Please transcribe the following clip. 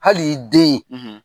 Hali i den,